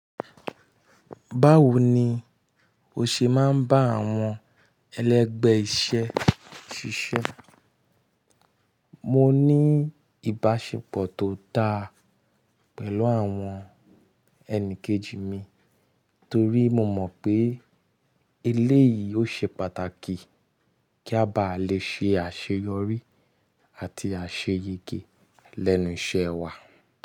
Báwo ni o ṣe máa ń bá àwọn ẹlẹgbẹ́ iṣẹ́ ṣiṣẹ́? Mọ ní ìbáṣepọ̀ tó dá pẹ̀lú àwọn ẹni kejì mi torí mo mọ̀ pé eléyìí ó ṣe pàtàkì kí a bá lè ṣe àṣeyọrí àti àṣeyẹgẹ lẹ́nu iṣẹ́ wa.